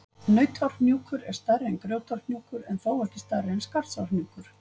Nautárhnjúkur er stærri en Grjótárhnjúkur, en þó ekki stærri en Skarðsárhnjúkur.